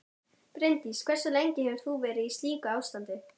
Bryndís: Hversu lengi hefur þú verið í slíku ástandi?